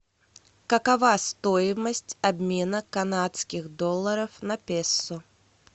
какова стоимость обмена канадских долларов на песо